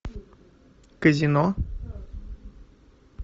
казино